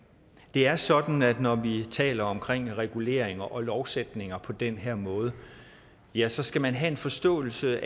er sådan at når vi taler om reguleringer og lovændringer på den her måde ja så skal man have en forståelse